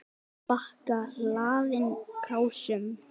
Líka bakka hlaðinn krásum.